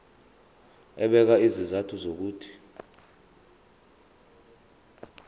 ebeka izizathu zokuthi